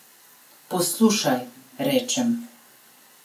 Poslušaj, rečem.